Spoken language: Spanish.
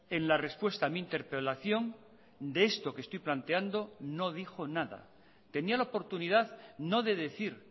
en la respuesta a mi interpelación de esto que estoy planteando no dijo nada tenía la oportunidad no de decir